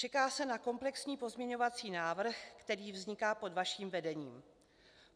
Čeká se na komplexní pozměňovací návrh, který vzniká pod vaším vedením.